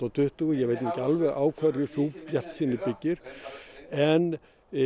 tuttugu ég veit nú ekki alveg á hverju sú bjartsýni byggir en